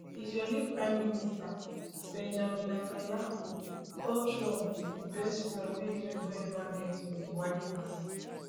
israeli prime minister benjamin netanyahu call trump di best friend wey israel don ever get for di white house